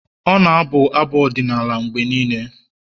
ọ na-abụ abụ ọdịnala mgbe niile